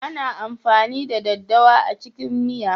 Ana amfani da daddawa a cikin miya.